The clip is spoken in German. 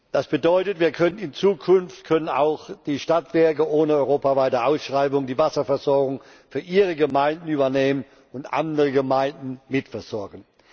Das bedeutet In Zukunft können auch die Stadtwerke ohne europaweite Ausschreibung die Wasserversorgung für ihre Gemeinden übernehmen und andere Gemeinden mitversorgen.